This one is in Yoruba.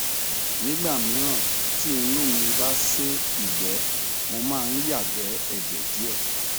nígbà míràn tí inú mí bá sé ìgbẹ mo máa ń yàgbẹ ẹjẹ díẹ